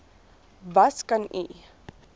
was kan u